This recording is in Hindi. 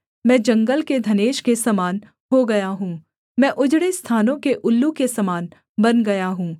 मैं जंगल के धनेश के समान हो गया हूँ मैं उजड़े स्थानों के उल्लू के समान बन गया हूँ